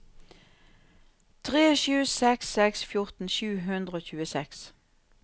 tre sju seks seks fjorten sju hundre og tjueseks